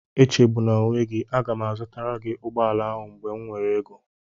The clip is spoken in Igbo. Echegbuna onwe gị, aga m azụtara gị ụgbọala ahụ mgbe m nwere ego